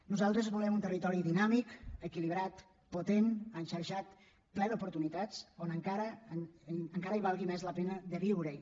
nosaltres volem un territori dinàmic equilibrat potent enxarxat ple d’oportunitats on encara valgui més la pena de viure hi